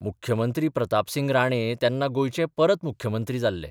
मुख्यमंत्री प्रतापसिंग राणे तेन्ना गोंयचे परत मुख्यमंत्री जाल्ले.